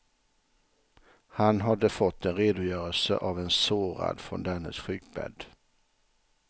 Han hade fått en redogörelse av en sårad från dennes sjukbädd.